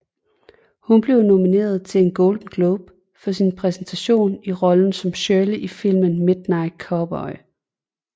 Hun blev nomineret til en Golden Globe for sin præstation i rollen som Shirley i filmen Midnight Cowboy